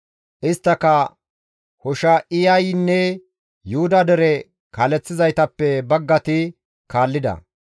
Isttaka Hosha7iyaynne Yuhuda dere kaaleththizaytappe baggati kaallida.